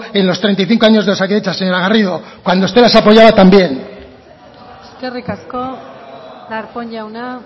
en los treinta y cinco años de osakidetza señora garrido cuando usted las apoyaba también eskerrik asko darpón jauna